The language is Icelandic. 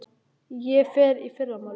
Ég fer í fyrramálið.